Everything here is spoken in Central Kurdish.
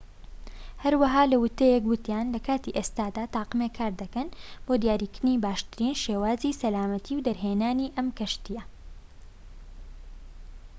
هەروەها لە ووتەیەک وتیان لە کاتی ئێستادا تاقمێک کار دەکەن بۆ دیاریکردنی باشترین شێوازی سەلامەتی دەرهێنانی ئەم کەشتیە